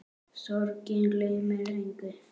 Sorgin gleymir engum.